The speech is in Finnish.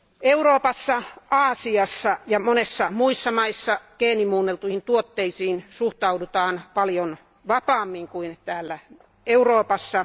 Euroopassa, Aasiassa ja monissa muissa maissa geenimuunneltuihin tuotteisiin suhtaudutaan paljon vapaammin kuin täällä Euroopassa.